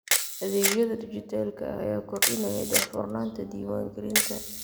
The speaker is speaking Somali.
Adeegyada dijitaalka ah ayaa kordhinaya daahfurnaanta diiwaangelinta.